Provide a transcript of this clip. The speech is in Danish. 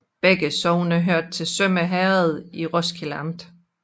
Begge sogne hørte til Sømme Herred i Roskilde Amt